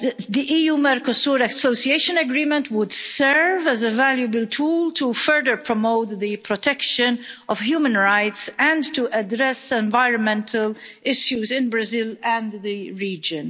The EU Mercosur Association Agreement would serve as a valuable tool to further promote the protection of human rights and to address environmental issues in Brazil and the region.